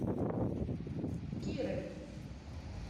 кирой